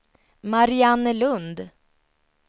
Mariannelund